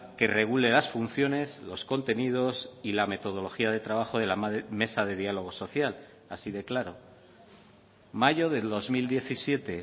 que regule las funciones los contenidos y la metodología de trabajo de la mesa de diálogo social así de claro mayo del dos mil diecisiete